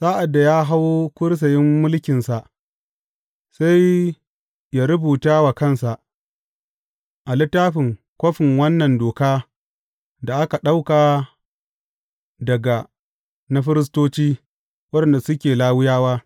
Sa’ad da ya hau kursiyin mulkinsa, sai yă rubuta wa kansa a littafin kofin wannan doka da aka ɗauka daga na firistoci, waɗanda suke Lawiyawa.